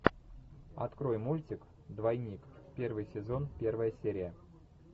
открой мультик двойник первый сезон первая серия